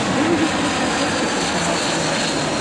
выведи мне на смотрешке телеканал квн тв